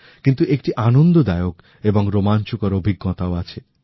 কিন্তু একটি আনন্দদায়ক এবং রোমাঞ্চকর অভিজ্ঞতাও আছে